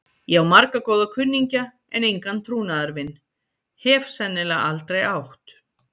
Ég á marga góða kunningja, en engan trúnaðarvin. hef sennilega aldrei átt.